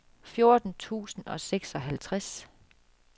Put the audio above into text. fjorten tusind og seksoghalvtreds